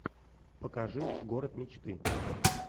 покажи город мечты